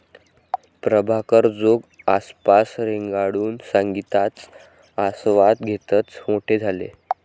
प्रभाकर जोग आसपास रेंगाळून संगीताचा आस्वाद घेतच मोठे झाले.